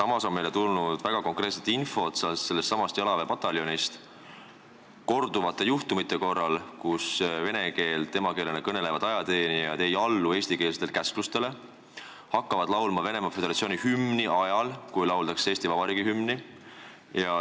Meie oleme saanud väga konkreetset infot, et sellessamas jalaväepataljonis on korduvalt juhtunud, et vene keelt emakeelena kõnelevad ajateenijad ei allu eestikeelsetele käsklustele, näiteks hakkavad laulma Venemaa Föderatsiooni hümni, kui lauldakse Eesti Vabariigi hümni.